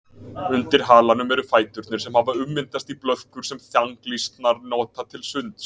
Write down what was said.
Undir halanum eru fæturnir sem hafa ummyndast í blöðkur sem þanglýsnar nota til sunds.